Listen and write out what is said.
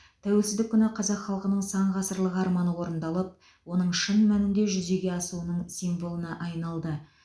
тәуелсіздік күні қазақ халқының сан ғасырлық арманы орындалып оның шын мәнінде жүзеге асуының символына айналды